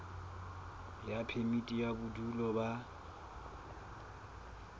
ya phemiti ya bodulo ba